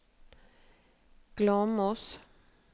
Glåmos